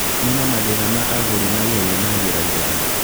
Kũniina mathĩna ma agũri na ihenya na njĩra njega